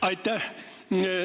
Aitäh!